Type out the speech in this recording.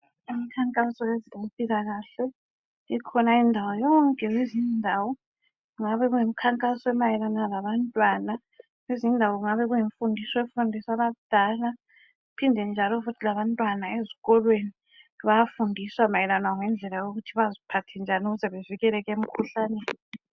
Umkhankaso wezempilakahle ikhona indawo yonke lezinye indawo kungabe kuyimikhankaso emayelana labantwana kwezinye indawo kungabe kuyimfundiso efundiswa abadala. Phinde njalo futhi labantwana ezikolweni bayafundiswa mayelana lokuthi baziphathe njani ukuze bavikeleke emkhuhlaneni.